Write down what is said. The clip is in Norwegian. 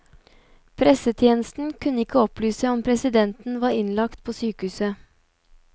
Pressetjenesten kunne ikke opplyse om presidenten var innlagt på sykehus.